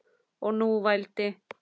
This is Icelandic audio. Og nú vældi